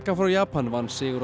frá Japan vann sigur á